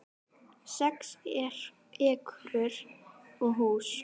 Sex ekrur og hús